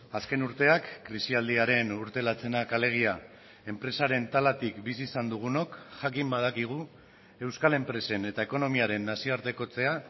azken urteak krisialdiaren urte latzenak alegia enpresaren talatik bizi izan dugunok jakin badakigu euskal enpresen eta ekonomiaren nazioartekotzea